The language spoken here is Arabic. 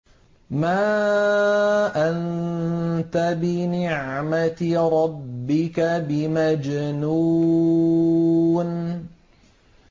مَا أَنتَ بِنِعْمَةِ رَبِّكَ بِمَجْنُونٍ